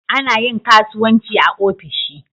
Ana yin kasuwanci ofishi.